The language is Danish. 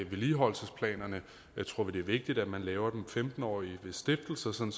vedligeholdelsesplanerne her tror vi det er vigtigt at man laver dem som femten årige ved stiftelsen